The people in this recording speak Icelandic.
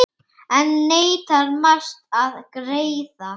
Enn neitar Mast að greiða.